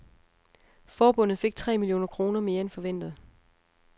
Forbundet fik tre millioner kroner mere end forventet.